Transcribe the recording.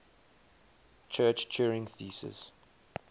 church turing thesis